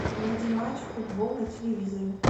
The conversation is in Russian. найди матч футбол на телевизоре